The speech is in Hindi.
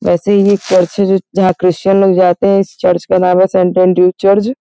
वैसे ही एक चर्च है जो जहां क्रिश्चियन लोग जाते हैं। इस चर्च का नाम है सेंट एंड्रूज चर्ज ।